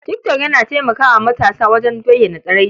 Tik tok yana taimaka wa matasa wajen bayyana tsiraici.